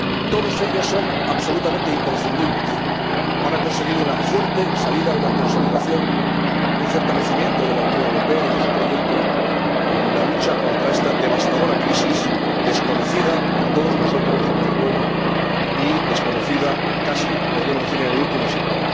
Todos ellos son absolutamente imprescindibles para conseguir una fuerte salida, una consolidación y un fortalecimiento de la Unión Europea y de su proyecto en la lucha contra esta devastadora crisis, desconocida para todos nosotros, desde luego, y desconocida, casi podríamos decir, en el último siglo.